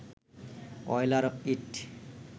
Euler ইঁট